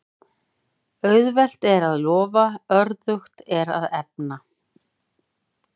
Auðvelt er að lofa, örðugt að efna.